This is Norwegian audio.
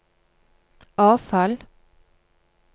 avfall